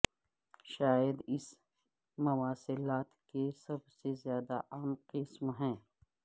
شاید اس مواصلات کے سب سے زیادہ عام قسم ہے